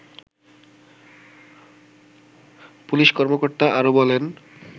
পুলিশকর্মকর্তা আরো বলেন